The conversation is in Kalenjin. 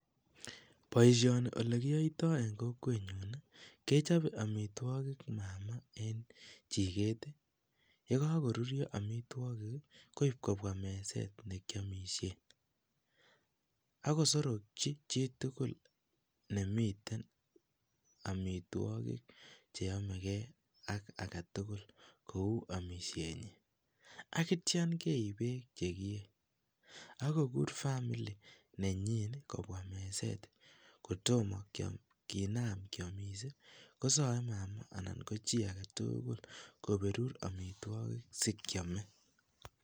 Boishoni elekiyoito en kokwenyon kechobe amitwokik mama en chiket yekakoruryo amitwokik koib kobwa meset nekiomishen akosorokyi chitukul nemiten amitwokik cheyomekee ak aketukul kou amishenyin akityo keib beek chekiyee ak kokur family nenyin kobwa meset, kotomo kinam kiomis kosoe mama anan kochii aketukul koberur amitwokik sikiame.